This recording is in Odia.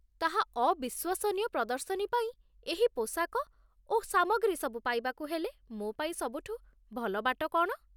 ତାହା ଅବିଶ୍ୱସନୀୟ ପ୍ରଦର୍ଶନୀ ପାଇଁ ଏହି ପୋଷାକ ଓ ସାମଗ୍ରୀ ସବୁ ପାଇବାକୁ ହେଲେ ମୋପାଇଁ ସବୁଠୁ ଭଲ ବାଟ କ'ଣ?